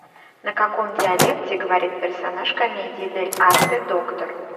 на каком диалекте говорит персонаж комедии дель арте доктор